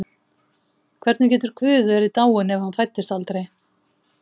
Hvernig getur Guð verið dáinn ef hann fæddist aldrei?